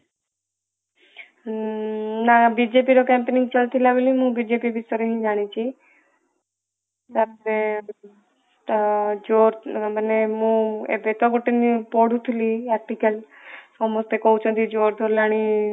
ହୁଁ ନା ବିଜେପି ର campaigning ଚାଲିଥିଲା ବୋଲି ମୁ ବିଜେପି ବିଷୟରେ ହିଁ ଜାଣିଛି ତାପରେ ତ ଯୋ ମାନେ ଏବେ ତ ଗୋଟେ ମୁଁ ପଢୁଥିଲି article ସମସ୍ତେ କହୁଛନ୍ତି ହେଲାଣି